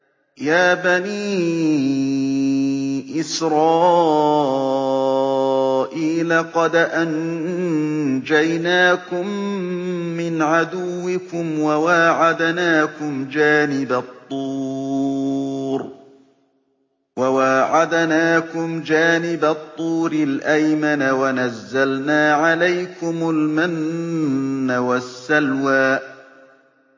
يَا بَنِي إِسْرَائِيلَ قَدْ أَنجَيْنَاكُم مِّنْ عَدُوِّكُمْ وَوَاعَدْنَاكُمْ جَانِبَ الطُّورِ الْأَيْمَنَ وَنَزَّلْنَا عَلَيْكُمُ الْمَنَّ وَالسَّلْوَىٰ